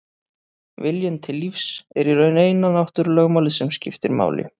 Viljinn til lífs er í raun eina náttúrulögmálið sem skiptir máli.